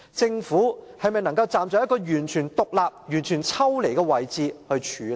政府能否站在一個完全獨立和抽離的位置來處理？